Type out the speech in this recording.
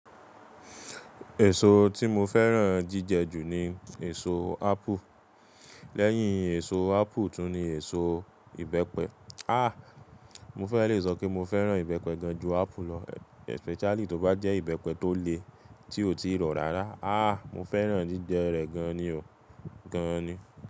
Èso tí mo fẹ́ràn jíjẹ jù ni èso ápù. Lẹ́yìn èso ápù tún ni èso ìbẹ́pẹ. Àh! Mo fẹ́ le sọ pé mo fẹ́ràn ìbẹ́pẹ gan ju ápù lọ especially tó bá jẹ́ ìbẹ́pẹ tó le tí ò tíì rọ̀ rárá. Àh! Mo fẹ́ràn jíjẹ rẹ̀ gan ni o. Gan ni.